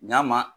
Ɲ'a ma